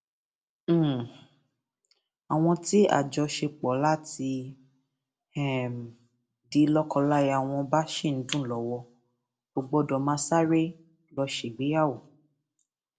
um àwọn tí àjọṣepọ láti um di lókoláya wọn náà bá sì ń dùn lọwọ kò gbọdọ máa sáré lọọ ṣègbéyàwó